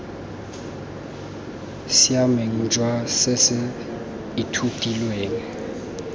siameng jwa se se ithutilweng